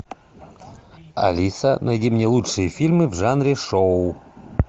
алиса найди мне лучшие фильмы в жанре шоу